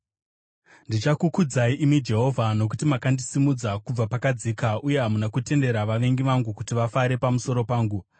Ndichakukudzai imi Jehovha, nokuti makandisimudza kubva pakadzika, uye hamuna kutendera vavengi vangu kuti vafare pamusoro pangu.